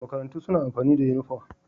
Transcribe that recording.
Makarantu suna amfani da uniform